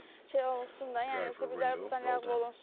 Buna nəsə bir şey olsun da, yəni zibillər burdan ləğv olunsun.